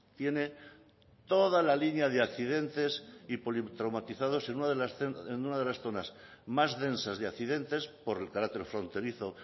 tiene toda la línea de accidentes y politraumatizados en una de las zonas más densas de accidentes por el carácter fronterizo